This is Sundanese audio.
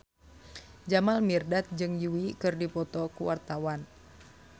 Jamal Mirdad jeung Yui keur dipoto ku wartawan